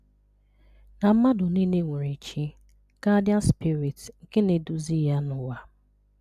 na mmadụ niile nwere Chi (guardian spirit) nke na-eduzi ya n’ụwa.